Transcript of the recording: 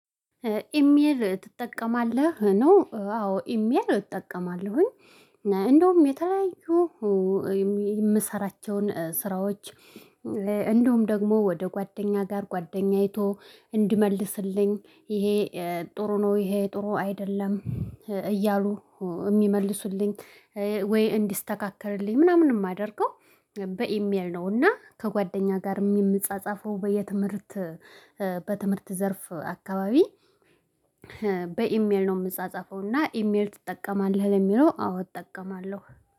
ኢሜል ትጠቀማለህ ነው አዎ ኢሜል እጠቀማለሁኝ። እንደውም የተለያዩ የምሰራቸውን ስራዎች እንደውም ደግሞ ወደ ጓደኛ ጋር ጓደኛ አይቶ እንዲመልስልኝ ይሄ ጥሩ ነው። ይሄ ጥሩ አይደለም። እያሉ እሚመልሱልኝ ወይ እንዲስተካከልልኝ ምናምን የማደርገው። በኢሜል ነውና ከጓደኛ ጋር የምንጻጻፈው በየትምህርት በትምህርት ዘርፍ አከባቢ በኢሜል ነው የምጻጸፈው። እና ኢሜል ትጠቀማለህ? ለሚለው አዎ እጠቀማለሁ